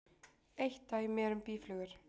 Eitt dæmi er um býflugur.